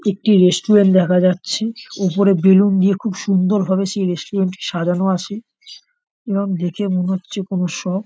একটি রেস্টুরেন্ট দেখা যাচ্ছে ওপরে বেলুন দিয়ে খুব সুন্দরভাবে সেই রেস্টুরেন্ট টি সাজানো আছে এবং দেখে মনে হচ্ছে কোন স--